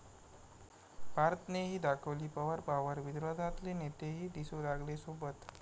पार्थनेही दाखवली पवार पॉवर, विरोधातले नेतेही दिसू लागले सोबत